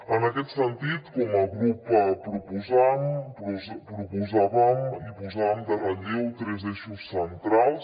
en aquest sentit com a grup proposant proposàvem i posàvem en relleu tres eixos centrals